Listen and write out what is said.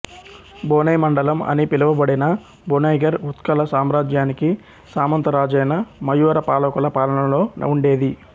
బొనై మండలం అని పిలువబడిన బొనైగర్ ఉత్కల సామ్రాజ్యానికి సామంతరాజైన మయూర పాలకుల పాలనలో ఉండేది